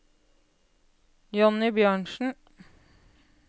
Jonny Bjørnsen